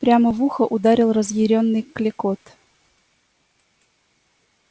прямо в ухо ударил разъярённый клёкот